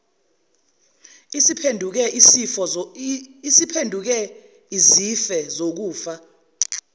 isiphenduke izife zokufa